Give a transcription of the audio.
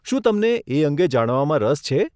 શું તમને એ અંગે જાણવામાં રસ છે?